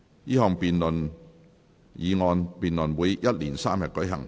這項議案辯論會一連三天舉行。